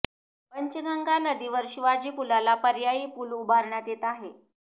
पंचगंगा नदीवर शिवाजी पुलाला पर्यायी पूल उभारण्यात येत आहे